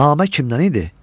namə kimdən idi?